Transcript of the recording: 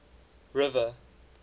river